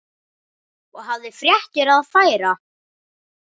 Og hafði fréttir að færa.